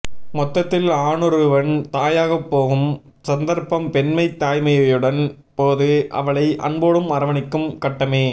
மொத்தத்தில் ஆணொருவன் தாயாகப்போகும் சந்தர்ப்பம் பெண்மை தாய்மையடையும் போது அவளை அன்போடு அரவணைக்கும் கட்டமே